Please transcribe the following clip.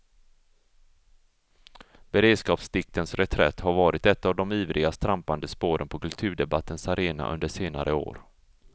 Beredskapsdiktens reträtt har varit ett av de ivrigast trampade spåren på kulturdebattens arena under senare år.